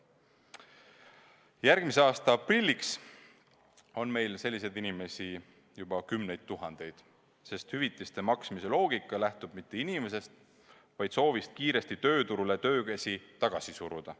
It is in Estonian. Järgmise aasta aprilliks on meil selliseid inimesi juba kümneid tuhandeid, sest hüvitiste maksmise loogika ei lähtu mitte inimesest, vaid soovist kiiresti tööturule töökäsi tagasi suruda.